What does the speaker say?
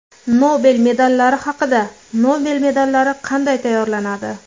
Nobel medallari haqida Nobel medallari qanday tayyorlanadi?